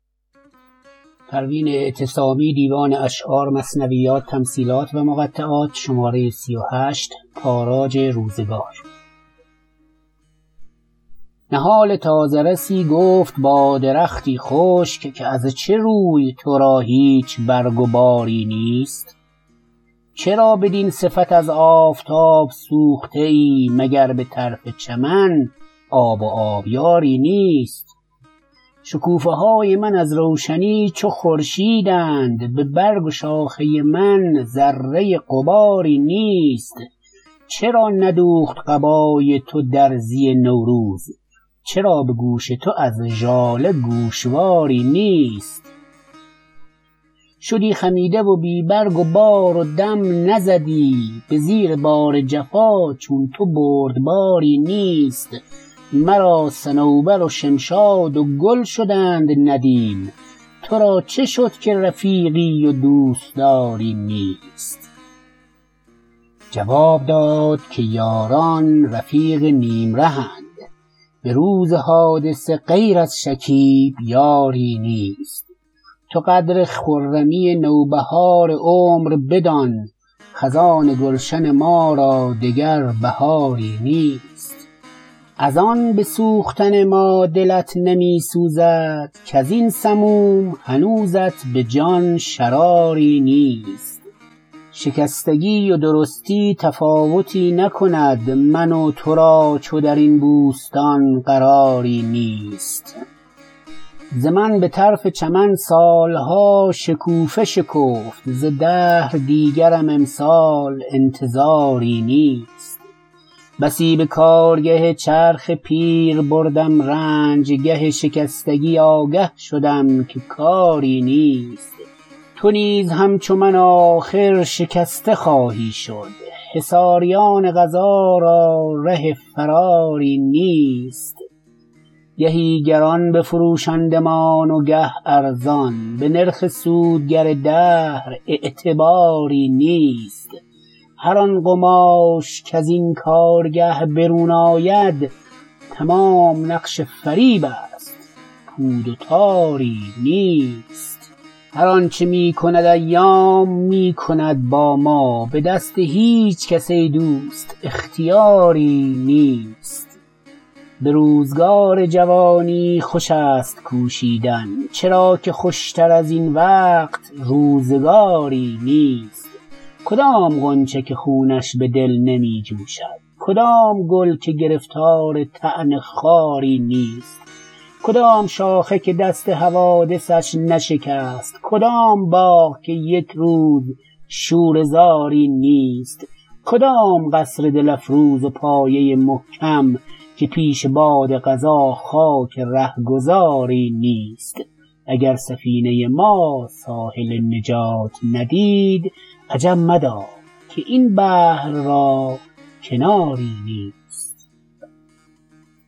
نهال تازه رسی گفت با درختی خشک که از چه روی ترا هیچ برگ و باری نیست چرا بدین صفت از آفتاب سوخته ای مگر بطرف چمن آب و آبیاری نیست شکوفه های من از روشنی چو خورشیدند ببرگ و شاخه من ذره غباری نیست چرا ندوخت قبای تو درزی نوروز چرا بگوش تو از ژاله گوشواری نیست شدی خمیده و بی برگ و بار و دم نزدی بزیر بار جفا چون تو بردباری نیست مرا صنوبر و شمشاد و گل شدند ندیم ترا چه شد که رفیقی و دوستاری نیست جواب داد که یاران رفیق نیم رهند بروز حادثه غیر از شکیب یاری نیست تو قدر خرمی نوبهار عمر بدان خزان گلشن ما را دگر بهاری نیست از ان بسوختن ما دلت نمیسوزد کازین سموم هنوزت بجان شراری نیست شکستگی و درستی تفاوتی نکند من و ترا چون درین بوستان قراری نیست ز من بطرف چمن سالها شکوفه شکفت ز دهر دیگرم امسال انتظاری نیست بسی به کارگه چرخ پیر بردم رنج گه شکستگی آگه شدم که کاری نیست تو نیز همچو من آخر شکسته خواهی شد حصاریان قضا را ره فراری نیست گهی گران بفروشندمان و گه ارزان به نرخ سود گر دهر اعتباری نیست هر آن قماش کزین کارگه برون آید تمام نقش فریب است پود و تاری نیست هر آنچه میکند ایام میکند با ما بدست هیچکس ای دوست اختیاری نیست بروزگار جوانی خوش است کوشیدن چرا که خوشتر ازین وقت و روزگاری نیست کدام غنچه که خونش بدل نمی جوشد کدام گل که گرفتار طعن خاری نیست کدام شاخه که دست حوادثش نشکست کدام باغ که یکروز شوره زاری نیست کدام قصر دل افروز و پایه محکم که پیش باد قضا خاک رهگذاری نیست اگر سفینه ما ساحل نجات ندید عجب مدار که این بحر را کناری نیست